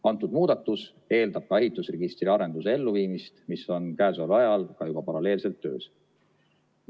Antud muudatus eeldab ka ehitusregistri arenduse elluviimist, mis on käesoleval ajal ka juba paralleelselt töös.